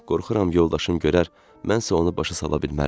Qorxuram yoldaşım görər, mən isə onu başa sala bilmərəm.